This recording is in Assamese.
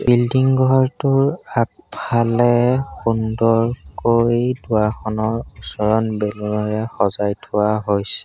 বিল্ডিং ঘৰটোৰ আগফালে সুন্দৰকৈ দুৱাৰখনৰ ওচৰত বেলুনে এৰে থোৱা হৈছে।